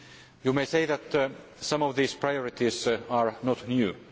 You may say that some of these priorities are not new.